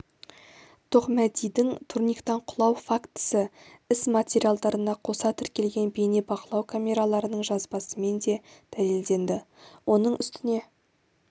тоқмәдидің турниктан құлау фактісі іс материалдарына қоса тіркелген бейне бақылау камераларының жазбасымен де дәлелденді оның үстіне